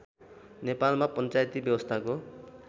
नेपालमा पञ्चायती व्यवस्थाको